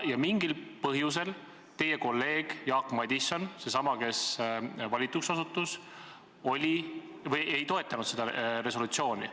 Ja mingil põhjusel teie kolleeg Jaak Madison – seesama, kes valituks osutus – ei toetanud seda resolutsiooni.